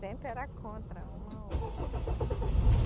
Sempre era contra uma outra.